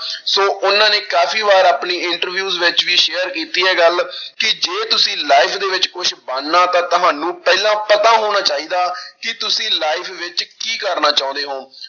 ਸੌ ਉਹਨਾਂ ਨੇ ਕਾਫ਼ੀ ਵਾਰ ਆਪਣੀ interviews ਵਿੱਚ ਵੀ share ਕੀਤੀ ਹੈ ਗੱਲ ਕਿ ਜੇ ਤੁਸੀਂ life ਦੇ ਵਿੱਚ ਕੁਛ ਬਣਨਾ ਤਾਂ ਤੁਹਾਨੂੰ ਪਹਿਲਾਂ ਪਤਾ ਹੋਣਾ ਚਾਹੀਦਾ ਕਿ ਤੁਸੀ life ਵਿੱਚ ਕੀ ਕਰਨਾ ਚਾਹੁੰਦੇ ਹੋ।